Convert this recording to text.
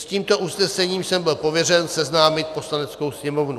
S tímto usnesením jsem byl pověřen seznámit Poslaneckou sněmovnu.